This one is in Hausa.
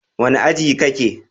Wane aji kake?